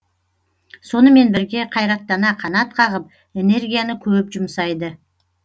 сонымен бірге қайраттана қанат қағып энергияны көп жұмсайды